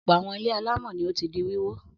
Ọ̀pọ̀ àwọn ilé alámọ̀ ni ó ti di wíwó.